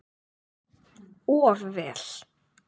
Of vel.